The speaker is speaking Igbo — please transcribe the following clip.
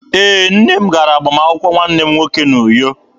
Ee, nne m gara agbamakwụkwọ nwanne m nwoke n'Uyo.